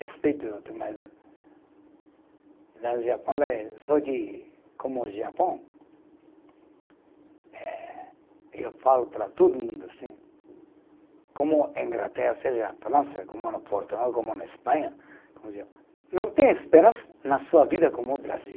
Respeito, mas. Lá no Japão, lá é só que, como o Japão, eh eu falo para todo mundo assim, como a Inglaterra, seja a França, como no Portugal, como na Espanha, não tem esperança na sua vida como o Brasil.